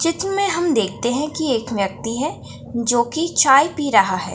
चित्र में हम देखते हैं कि एक व्यक्ति है जो कि चाय पी रहा है।